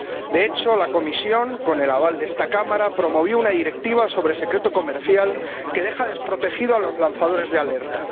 De hecho, la Comisión, con el aval de esta Cámara, promovió una Directiva sobre el secreto comercial, que deja desprotegidos a los lanzadores de alerta.